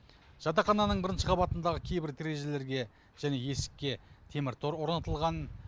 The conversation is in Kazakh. жатақхананың бірінші қабатындағы кейбір терезелерге және есікке темір тор орнатылған